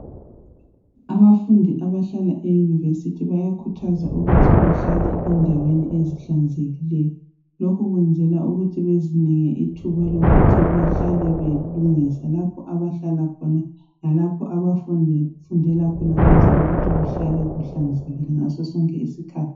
Abafundi abahlala eyunivesithi bayakhuthazwa ukuthi behlale endaweni ezihlanzekileyo. Lokhu kwenzelwa ukuthi bezinike ithuba lokuthi behlale belungisa lapho abahlala khona lalapho abafundela khona ukwenzela ukuthi kuhlale kuhlanzekile ngaso sonke isikhathi.